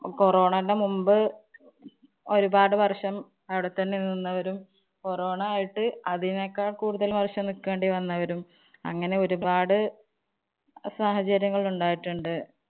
corona ടെ മുമ്പ് ഒരുപാട് വര്‍ഷം അവിടെത്തന്നെ നിന്നവരും corona ആയിട്ട് അതിനേക്കാള്‍ കൂടുതല്‍ വർഷം നില്‍ക്കേണ്ടി വന്നവരും അങ്ങനെ ഒരുപാട് സാഹചര്യങ്ങള്‍ ഉണ്ടായിട്ടുണ്ട്.